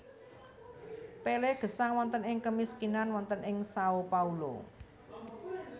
Pelé gesang wonten ing kemiskinan wonten ing Sao Paulo